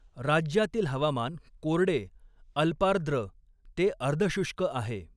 राज्यातील हवामान कोरडे अल्पार्द्र ते अर्धशुष्क आहे.